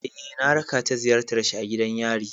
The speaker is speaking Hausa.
Eh, na raka ta ziyartar shi a gidan yari.